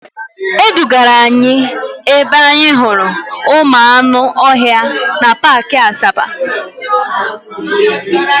E dugara anyị ebe anyị hụrụ ụmụ anụ ọhịa na paakị Asaba.